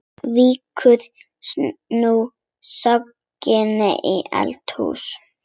Víkur nú sögunni í eldhús.